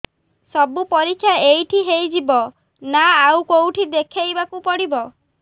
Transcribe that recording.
ସବୁ ପରୀକ୍ଷା ଏଇଠି ହେଇଯିବ ନା ଆଉ କଉଠି ଦେଖେଇ ବାକୁ ପଡ଼ିବ